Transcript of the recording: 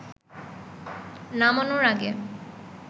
নামানোর আগে